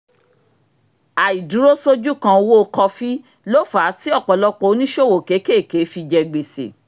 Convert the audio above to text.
àìdúró-sójúkan owó kọfí ló fà á tí ọ̀pọ̀lọpọ̀ oníṣòwò kéékèèké fi jẹ gbèsè